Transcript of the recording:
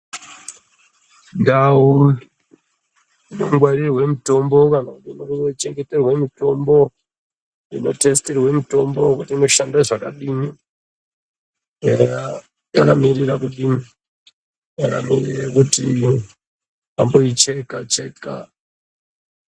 Ndau dzinongwarire mitombo kana inochengeterwe mitombo, inotesitirwe mitombo wekuti inoshanda zvakadini. Eya yakamirira kudini. Yakamirira kuti amboicheka cheka.